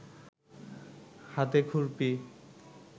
হাতে খুরপি